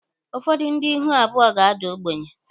Ụfọdụ ndị ihu abụọ ga-ada ogbenye.